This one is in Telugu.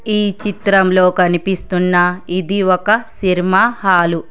ఈ చిత్రంలో కనిపిస్తున్న ఇది ఒక సినిమా హాలు